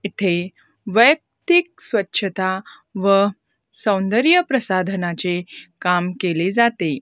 इथे वैयक्तिक स्वच्छता व सौंदर्य प्रसाधनाचे काम केले जाते.